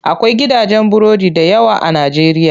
Akwai gidajen burodi dayawa a najeriya.